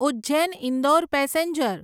Ujjain Indore passenger